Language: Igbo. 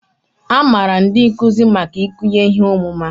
A maara ndị nkuzi maka ikunye ihe ọmụma